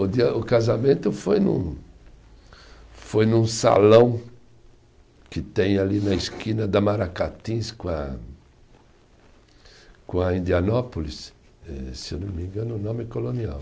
O dia, o casamento foi num, foi num salão que tem ali na esquina da Maracatins com a, com a Indianópolis, eh se eu não me engano o nome é Colonial.